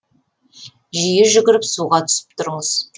жиі жүгіріп суға түсіп тұрыңыз